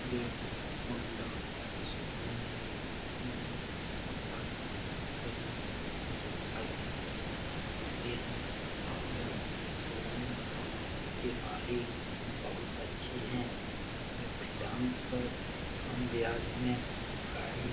ये Honda showroom है यहां होंडा के सभी मोटर साइकिल मिलते हैं यह शोरूम के मालिक बहुत अच्छे हैं यह फाइनेंस पर कम ब्याज में गाड़ी --